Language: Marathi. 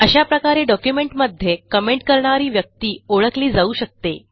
अशा प्रकारे डॉक्युमेंटमध्ये कमेंट करणारी व्यक्ती ओळखली जाऊ शकते